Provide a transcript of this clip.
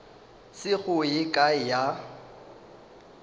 se go ye kae ya